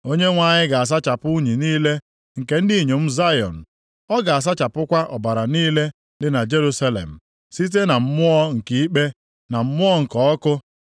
Onyenwe anyị ga-asachapụ unyi niile nke ndị inyom Zayọn, ọ ga-asachapụkwa ọbara niile dị na Jerusalem site na mmụọ nke ikpe, na mmụọ nke ọkụ.